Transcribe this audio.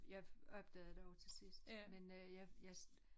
Jeg opdagede det også til sidst men øh jeg jeg